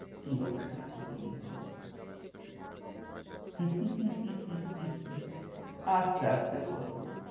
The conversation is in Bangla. কি option আছে বলুনত? আসতে আসতে করব।